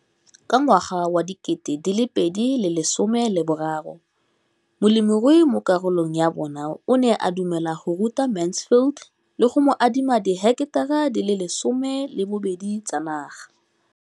Ka ngwaga wa 2013, molemirui mo kgaolong ya bona o ne a dumela go ruta Mansfield le go mo adima di heketara di le 12 tsa naga.